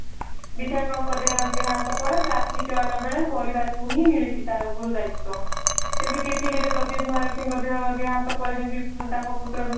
ବିଧାୟକ ଙ୍କ ଦେହାନ୍ତ ପରେ ପାର୍ଥୀ ଚୟନ ବେଳେ ପରିବାରଙ୍କୁ ହିଁ ମିଳିଛି ତାର ଗୁରୁ ଦାୟିତ୍ଵ ସେମିତି ରେ ପିପିଲି ରେ ପ୍ରଦୀପ ମହାରଥୀଙ୍କ ଦେହାନ୍ତ ପରେ ଯେମିତି ତାଙ୍କ ପୁତ୍ର